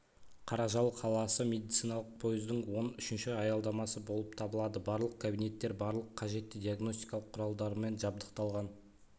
қаражал қаласы медициналық пойыздың он үшінші аялдамасы болып табылады барлық кабинеттер барлық қажетті диагностикалық құралдармен жабдықталған